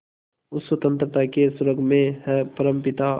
उस स्वतंत्रता के स्वर्ग में हे परमपिता